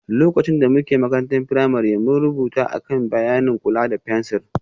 Lokacin da muke ƙaramar firamare, mun rubuta a kan bayanin kula da fensir